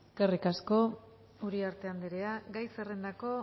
eskerrik asko uriarte andrea gai zerrendako